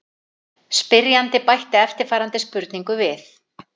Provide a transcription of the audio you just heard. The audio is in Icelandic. Spyrjandi bætti eftirfarandi spurningu við: